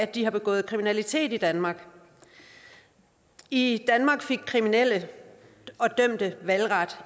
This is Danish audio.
de har begået kriminalitet i danmark i danmark fik kriminelle og dømte valgret